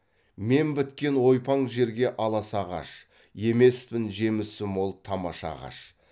мен біткен ойпаң жерге аласа ағаш емеспін жемісі мол тамаша ағаш